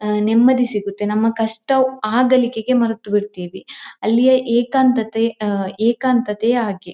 ಆಹ್ಹ್ ನೆಮ್ಮದಿ ಸಿಗುತ್ತೆ ನಮ್ಮ್ ಕಷ್ಟ ಆ ಗಳಿಗೆಗೆ ಮರೆತು ಬಿಡ್ತಿವಿ ಅಲ್ಲಿಯ ಏಕಾಂತತೆ ಏಕಾಂತತೆಯೇ ಹಾಗೆ.